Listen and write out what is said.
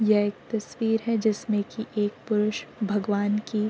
यह एक तस्वीर है जिसमें कि एक पुरुष भगवान् की --